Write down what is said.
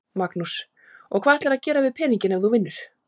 Magnús: Og hvað ætlarðu að gera við peninginn ef þú vinnur?